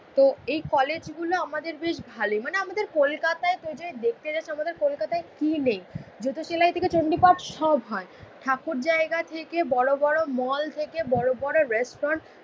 তো এই কলেজগুলো আমাদের বেশ ভালোই, মানে আমাদের কলকাতায় তুই যদি দেখতে যাস আমাদের কলকাতায় কি নেই। জুতো সেলাই থেকে চন্ডি পাঠ সব হয়। ঠাকুর জায়গা থেকে বড়োবড়ো মল থেকে বড়োবড়ো রেস্টুরেন্ট